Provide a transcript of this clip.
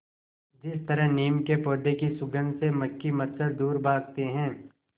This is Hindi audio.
जिस तरह नीम के पौधे की सुगंध से मक्खी मच्छर दूर भागते हैं